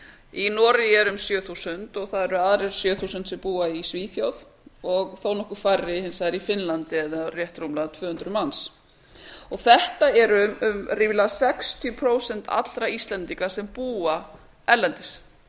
í noregi eru um sjö þúsund og það eru önnur sjö þúsund sem búa í svíþjóð og þó nokkru færri hins vegar í finnlandi eða rétt rúmlega tvö hundruð manns þetta eru ríflega sextíu prósent allra íslendinga sem búa erlendis